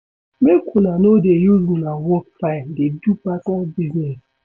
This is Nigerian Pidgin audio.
Make una no dey use una work time dey do personal business.